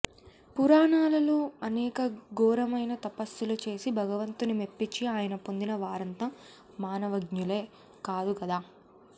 పురాణాలలో అనేక ఘోరమైన తపస్సులు చేసి భగవంతుని మెప్పించి ఆయన పొందిన వారంతా మానవ్ఞలే కాదు గదా